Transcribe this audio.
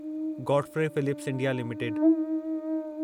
Godfrey Phillips India limited